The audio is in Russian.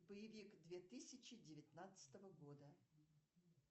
боевик две тысячи девятнадцатого года